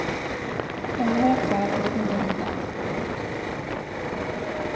Ännu har jag kvar av det goda vinet. punkt